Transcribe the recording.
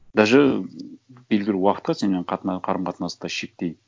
даже белгілі уақытқа сенімен қарым қатынасты шектеймін